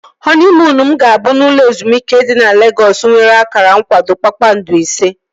Họniimuunu m ga-abụ n'ụlọ ezumike dị na Legọs nwere akara nkwado kpakpando ise